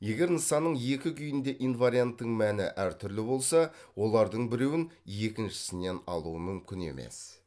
егер нысанның екі күйінде инварианттың мәні әртүрлі болса олардың біреуін екіншісінен алу мүмкін емес